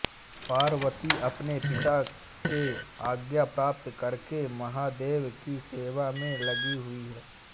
पार्वती अपने पिता से आज्ञा प्राप्त करके महादेव की सेवा में लगी हुई हैं